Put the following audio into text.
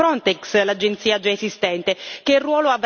Che ruolo avrà quest'agenzia, di mero coordinamento?